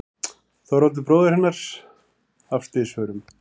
Þorvaldur bróðir hennar af slysförum.